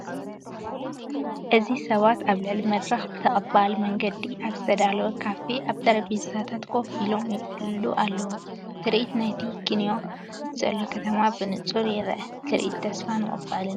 እዚ ሰባት ኣብ ልዑል መድረኽ ብተቐባሊ መንገዲ ኣብ ዝተዳለወ ካፈ ኣብ ጠረጴዛታት ኮፍ ኢሎም ይዕልሉ ኣለዉ። ትርኢት ናይቲ ኪንዮኡ ዘሎ ከተማ ብንጹር ይርአ፡ ትርኢት ተስፋን ምቕባልን እዩ።